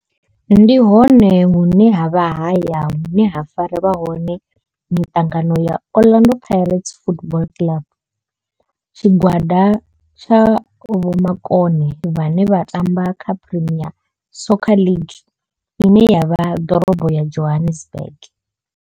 Ndi hone hune havha haya hune ha farelwa hone mitangano ya Orlando Pirates Football Club. Tshigwada tsha vhomakone vhane vha tamba kha Premier Soccer League ine ya vha ḓorobo ya Johannesburg.